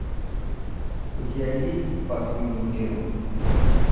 у тебя есть последний герой